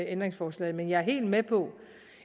ændringsforslaget men jeg er helt med på